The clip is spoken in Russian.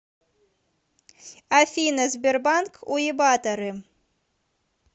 афина сбербанк уебаторы